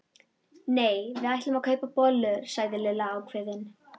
Nei, við ætlum að kaupa bollur sagði Lilla ákveðin.